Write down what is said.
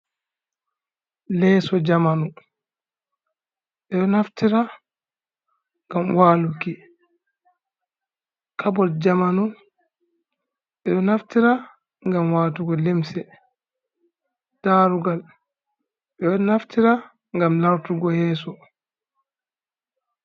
Leeso jamanu, ɓe ɗo naftira ngam waluki. Kabot jamanu, ɓe ɗo naftira ngam watugo limse. Darugal, ɓe ɗo naftira ngam lartugo yeso.